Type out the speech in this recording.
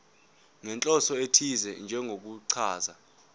nenhloso ethize njengokuchaza